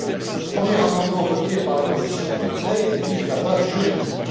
Le premier amendement voté par la commission ITRE vise la base juridique.